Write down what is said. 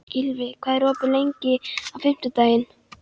Gylfi, hvað er opið lengi á fimmtudaginn?